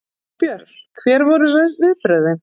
Þorbjörn: Hver voru viðbrögðin?